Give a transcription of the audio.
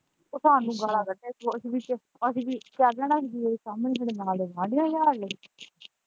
ਤੇ ਸਾਨੂੰੰ ਗਾਲ੍ਹਾਂ ਕੱਢੇ ਕੋਰਟ ਵਿੱਚ ਅਸੀਂ ਕਰ ਲੈਣਾ ਵਕੀਲ .